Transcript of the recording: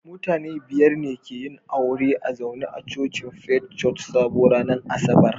Mutane biyar ne ke yin aure a zaune a cocin Faith Church Sabo ranar Asabar